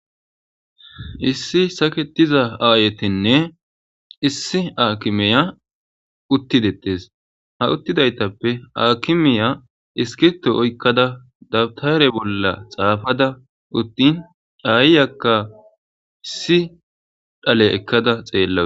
issi saketiza aayetinne issi aakimeya uttidettes ha uttidaytappe akimeya iskito oykkada dabtare bolla xaafada uttin dhayyakka issi dhale ekkada xeella